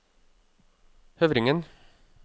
Høvringen